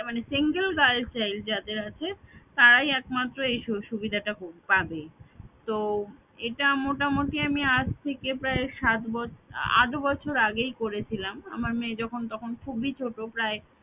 মানে single girl child যাদের আছে তারাই একমাত্র এই সুযোগ সুবিধাটা পাবে তো এটা মোটামুটি আমি আজ থেকে প্রায় সাত বছ~ আট বছর আগেই করেছিলাম আমার মেয়ে যখন তখন খুবই ছোট প্রায়